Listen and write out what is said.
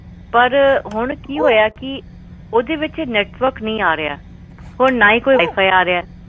ਸਤਸ਼੍ਰੀਅਕਾਲ ਅਰੁਣ ਮੇਰੇ ਕੋਲ ਜੀਓ ਫਾਈਬਰ ਦਾ ਕੰਨੇਕਸ਼ਨ ਆ ਹੋਰ ਇਹ ਸਹੀ ਚੱਲ ਰਿਹਾ ਸੀ ਸੇਵਰ ਤੱਕ ਪਰ ਹੁਣ ਕਿ ਹੋਇਆ ਕੀ ਓਹਦੇ ਵਿੱਚ ਨੈੱਟਵਰਕ ਨਹੀਂ ਆ ਰਿਹਾ ਹੁਣ ਨਾ ਈ ਕੋਈ ਵਾਈਫਾਈ ਆ ਰਿਹਾ